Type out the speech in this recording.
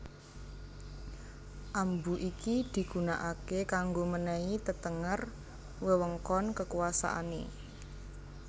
Ambu iki digunakake kanggo menehi tetenger wewengkon kekuasaane